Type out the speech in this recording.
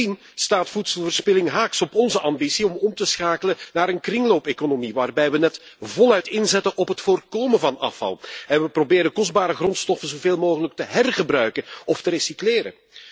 Bovendien staat voedselverspilling haaks op onze ambitie om om te schakelen naar een kringloopeconomie, waarbij we net voluit inzetten op het voorkomen van afval en we kostbare grondstoffen zoveel mogelijk proberen te hergebruiken of te recycleren.